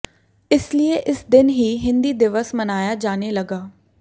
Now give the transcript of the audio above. इसलिए इस दिन ही हिंदी दिवस मनाया जाने लगा